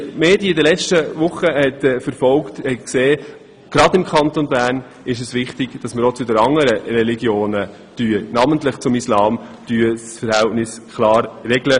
Wer die Berichterstattung in den Medien während den letzten Wochen verfolgt hat, hat gesehen, dass es gerade im Kanton Bern wichtig ist, das Verhältnis zu anderen Religionen – namentlich zum Islam – klar zu regeln.